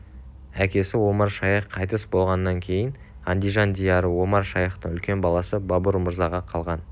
әкесі омар-шайх қайтыс болғаннан кейін андижан дийары омар-шайхтың үлкен баласы бабур мырзаға қалған